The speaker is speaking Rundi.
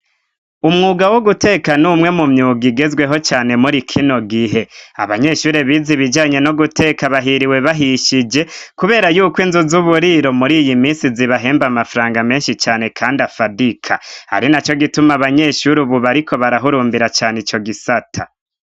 Umwuga wo guteka n’umwe mu myuga igezweho cane muri kino gihe. Abanyeshuri bize ibijanye no guteka bahiriwe bahishije, kubera y'uko inzu z'uburiro muri iyi misi zibahemba amafaranga menshi cane kandi afadika. Ari na co gituma abanyeshuri ubu bariko barahurumbira cane ico gisata.